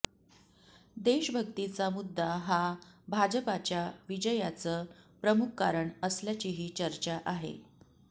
देशभक्तीचा मुद्दा हा भाजपाच्या विजयाचं प्रमुख कारण असल्याचीही चर्चा आहे